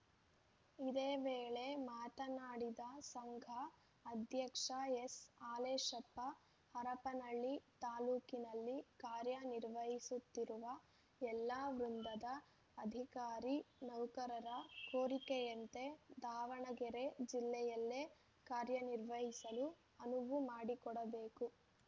ಇದೇ ವೇಳೆ ಮಾತನಾಡಿದ ಸಂಘ ಅಧ್ಯಕ್ಷ ಎಸ್‌ಹಾಲೇಶಪ್ಪ ಹರಪನಹಳ್ಳಿ ತಾಲೂಕಿನಲ್ಲಿ ಕಾರ್ಯ ನಿರ್ವಹಿಸುತ್ತಿರುವ ಎಲ್ಲಾ ವೃಂದದ ಅಧಿಕಾರಿ ನೌಕರರ ಕೋರಿಕೆಯಂತೆ ದಾವಣಗೆರೆ ಜಿಲ್ಲೆಯಲ್ಲೇ ಕಾರ್ಯ ನಿರ್ವಹಿಸಲು ಅನುವು ಮಾಡಿಕೊಡಬೇಕು